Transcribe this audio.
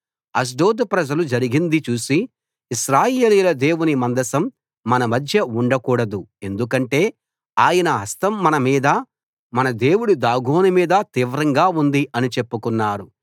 అష్డోదు ప్రజలు జరిగింది చూసి ఇశ్రాయేలీయుల దేవుని మందసం మన మధ్య ఉండ కూడదు ఎందుకంటే ఆయన హస్తం మనమీదా మన దేవుడు దాగోను మీదా తీవ్రంగా ఉంది అని చెప్పుకున్నారు